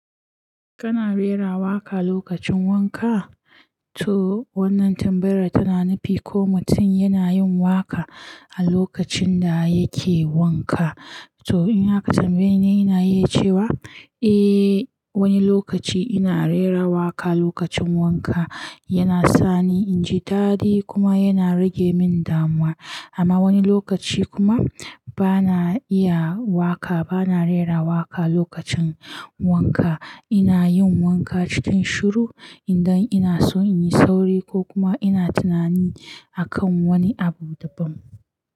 Kana rera waƙa lokacin wanka? To wannan tambayar tana nufi ko mutum yana yin waƙa a lokacin da yake wanka. To ina ka tambaye ni, ina iya cewa eh wani lokaci ina rera waƙa lokacin wanka. Yana sani in ji dadi kuma yana rage min damuwa. Amma wani lokaci kuma bana iya waƙa, bana rera waƙa lokacin wanka. Ina yin wanka cikin shiru idan ina so in yi sauri ko kuma ina tunani akan wani abu daban.